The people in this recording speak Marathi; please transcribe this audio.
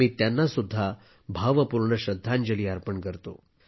मी त्यांना सुद्धा भावपूर्ण श्रद्धांजली अर्पण करतो